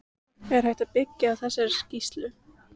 Er hægt að byggja á þessari skýrslu?